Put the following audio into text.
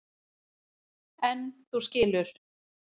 En þú skilur.